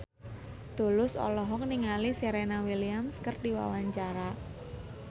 Tulus olohok ningali Serena Williams keur diwawancara